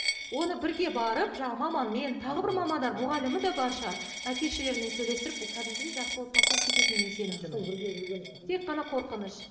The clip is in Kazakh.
оны бірге барып жаңа маманмен тағы бір мамандар мұғалімі де бар шығар әке шешелерімен сөйлестіріп бұл кәдімгідей жақсы отбасы болып кететіне мен сенімдімін үш жыл бірге жүрген тек қана қорқыныш